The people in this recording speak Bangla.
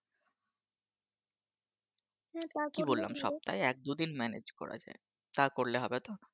কি বললাম সপ্তাহে এক দু'দিন Manage করা যায় তা করলে হবে তো